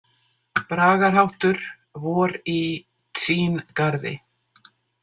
----------------------- Bragarháttur: „Vor í Tsín- garði“.